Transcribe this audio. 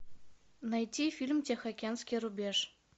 найти фильм тихоокеанский рубеж